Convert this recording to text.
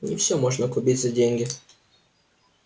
не всё можно купить за деньги